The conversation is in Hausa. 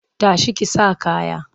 Ta shi ki sa kaya!